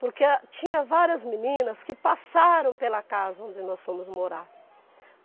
Porque tinha várias meninas que passaram pela casa onde nós fomos morar.